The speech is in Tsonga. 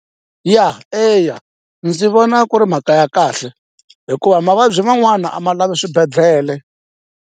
Ya eya ndzi vona ku ri mhaka ya kahle hikuva mavabyi man'wana a ma lavi swibedhlele.